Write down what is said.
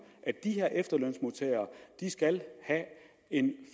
at de her efterlønsmodtagere skal have en